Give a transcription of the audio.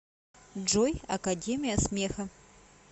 джой академия смеха